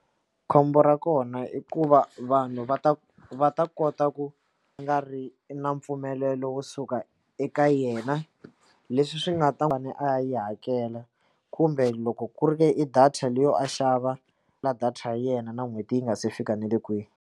Khombo ra kona i ku va vanhu va ta va ta kota ku nga ri na mpfumelelo wo suka eka yena leswi swi nga ta a yi hakela kumbe loko ku ri ka i data leyo a xava ma data ya yena na n'hweti yi nga se fika nale kwihi.